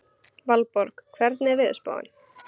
Valborg, hvernig er veðurspáin?